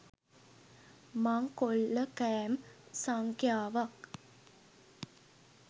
මංකොල්ලකෑම් සංඛ්‍යාවක්